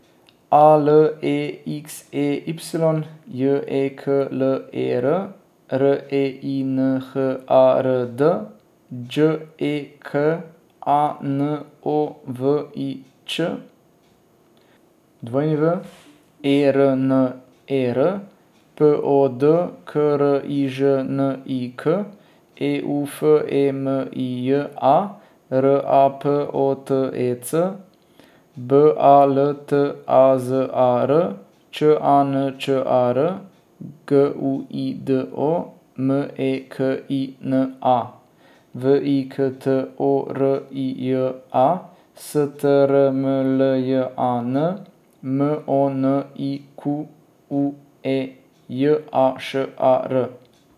A L E X E Y, J E K L E R; R E I N H A R D, Đ E K A N O V I Ć; W E R N E R, P O D K R I Ž N I K; E U F E M I J A, R A P O T E C; B A L T A Z A R, Č A N Č A R; G U I D O, M E K I N A; V I K T O R I J A, S T R M L J A N; M O N I Q U E, J A Š A R.